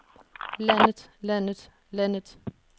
landet landet landet